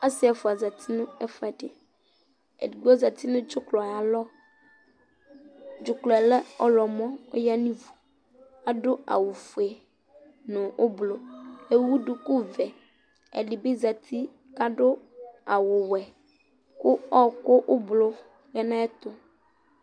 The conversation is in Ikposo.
Asi ɛfua za uti nu ɛfu ɛdi Ɛdigbo za uti nu dzuklɔ ayu alɔ Dzuklɔ yɛ lɛ ɔɣlɔmɔ Ɔya nu ivu Adu awu ɔfue nu ublɔ Ewu duku ɔvɛ Ɛdi bi za uti ku adu awu ɔwɛ ku ɔwɔku ublɔ ya nu ayu ɛtu